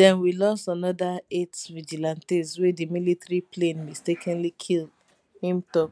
den we lost another eight vigilantes wey di military plane mistakenly kill im tok